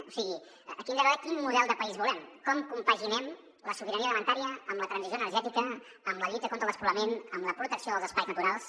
o sigui aquí hem de veure quin model de país volem com compaginen la sobirania alimentària amb la transició energètica amb la lluita contra el despoblament amb la protecció dels espais naturals